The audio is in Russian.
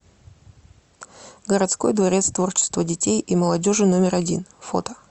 городской дворец творчества детей и молодежи номер один фото